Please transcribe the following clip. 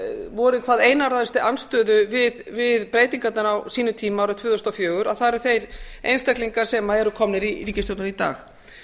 voru í hvað einarðastri andstöðu við breytingarnar á sínum tíma árið tvö þúsund og fjögur að það eru þeir einstaklingar sem eru komnir í ríkisstjórnina í dag